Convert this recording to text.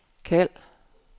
kald